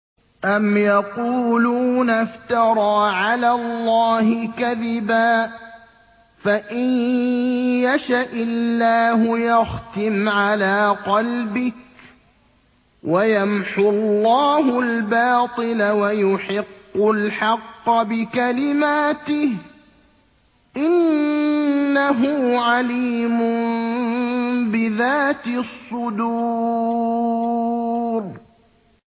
أَمْ يَقُولُونَ افْتَرَىٰ عَلَى اللَّهِ كَذِبًا ۖ فَإِن يَشَإِ اللَّهُ يَخْتِمْ عَلَىٰ قَلْبِكَ ۗ وَيَمْحُ اللَّهُ الْبَاطِلَ وَيُحِقُّ الْحَقَّ بِكَلِمَاتِهِ ۚ إِنَّهُ عَلِيمٌ بِذَاتِ الصُّدُورِ